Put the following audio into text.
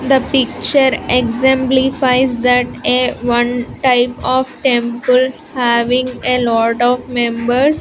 The picture exemplifies that a one type of temple having a lot of members.